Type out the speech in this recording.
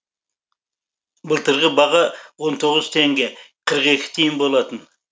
былтырғы баға он тоғыз теңге қырық екі тиын болатын